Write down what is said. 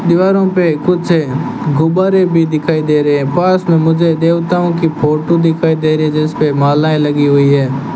दीवारों पे कुछ गुब्बारे भी दिखाई दे रहें हैं पास में मुझे देवताओं की फोटो दिखाई दे रही है जिस पे मालाएं लगी हुईं हैं।